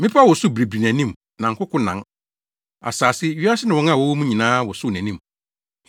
Mmepɔw wosow biribiri nʼanim na nkoko nan. Asase, wiase ne wɔn a wɔwɔ mu nyinaa wosow nʼanim.